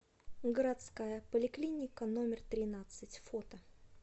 городская поликлиника номер тринадцать фото